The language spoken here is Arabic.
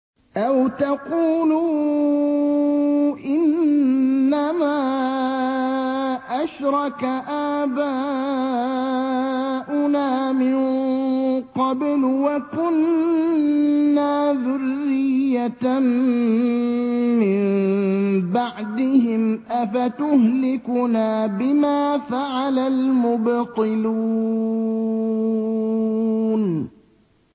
أَوْ تَقُولُوا إِنَّمَا أَشْرَكَ آبَاؤُنَا مِن قَبْلُ وَكُنَّا ذُرِّيَّةً مِّن بَعْدِهِمْ ۖ أَفَتُهْلِكُنَا بِمَا فَعَلَ الْمُبْطِلُونَ